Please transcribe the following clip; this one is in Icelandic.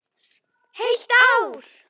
Heilt ár!